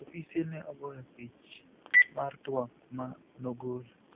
Ofise ni e ogoyo pich mar twak ma nogolo.